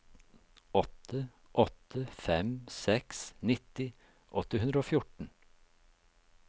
åtte åtte fem seks nitti åtte hundre og fjorten